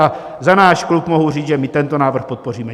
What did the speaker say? A za náš klub mohu říct, že my tento návrh podpoříme.